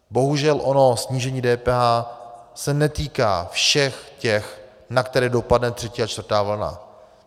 Bohužel ono snížení DPH se netýká všech těch, na které dopadne třetí a čtvrtá vlna.